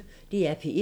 DR P1